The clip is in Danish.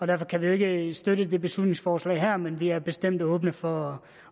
derfor kan vi ikke støtte det beslutningsforslag her men vi er bestemt åbne for